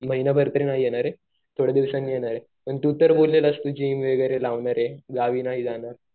महिनाभर तर नाही येणार ये थोड्या दिवसाने येणार आहे. पण तू तर बोललेलास जिम वगैरे लावणार आहे गावी नाही जाणार.